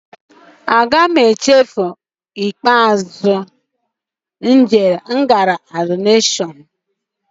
Ụbọchị ikpeazụ m jere Adọrashọn adịghị nchefu.